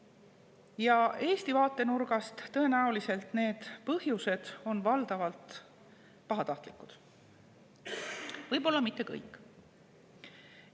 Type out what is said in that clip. Ja Eesti vaatenurgast tõenäoliselt need põhjused on valdavalt pahatahtlikud – võib-olla mitte kõik.